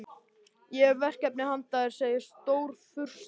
Ég hef verkefni handa þér segir Stórfurstinn.